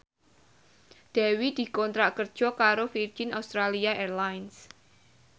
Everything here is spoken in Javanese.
Dewi dikontrak kerja karo Virgin Australia Airlines